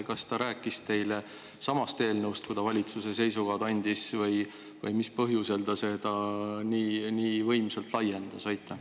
Kas ta rääkis ikka sellestsamast eelnõust, kui ta valitsuse seisukohti, või mis põhjusel ta seda nii võimsalt laiendas?